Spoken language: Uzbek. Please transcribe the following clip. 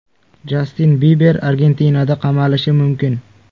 Jastin Biber Argentinada qamalishi mumkin.